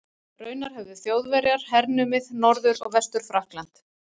Raunar höfðu Þjóðverjar hernumið Norður- og Vestur-Frakkland.